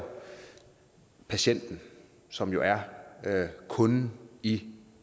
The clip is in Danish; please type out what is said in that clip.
patienten som jo er kunden i